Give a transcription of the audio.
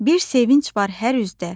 Bir sevinc var hər üzdə,